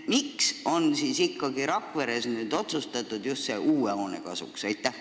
Miks on ikkagi Rakveres nüüd otsustatud just uue hoone kasuks?